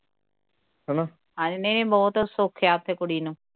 ਐਨੇ ਬਹੁਤ ਸੌਖੇ ਕੁੜੀ ਨੂੰ